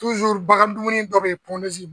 bagan dumuni dɔ bɛ yen